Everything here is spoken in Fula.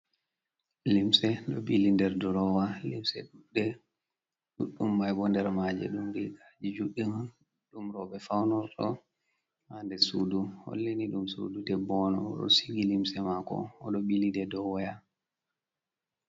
Limse ɗo ɓili nder durowa, limse ɗuɗɗe. Ɗuɗdum mai bo nder maaje ɗum riigaji juɗɗi on ɗum rowɓe faunorto, ha der sudu. Holli ni ɗum sudu debbo on, o ɗo sigi limse mako, o ɗo ɓili ɗe dou waya.